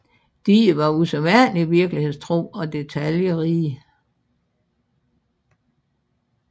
Die var usædvanligt virkelighedstro og detaljerige